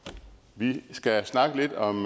vi skal snakke lidt om